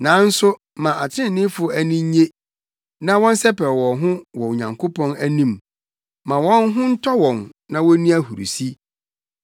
Nanso ma atreneefo ani nnye na wɔnsɛpɛw wɔn ho wɔ Onyankopɔn anim; ma wɔn ho ntɔ wɔn na wonni ahurusi.